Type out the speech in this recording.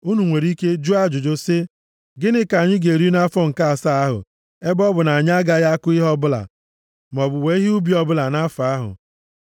Unu nwere ike jụọ ajụjụ sị, “Gịnị ka anyị ga-eri nʼafọ nke asaa ahụ ebe ọ bụ na anyị agaghị akụ ihe ọbụla, maọbụ wee ihe ubi ọbụla nʼafọ ahụ?”